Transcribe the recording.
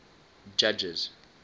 judges